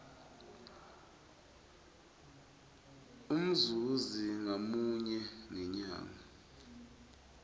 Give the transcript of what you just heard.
umzuzi ngamunye ngemnyaka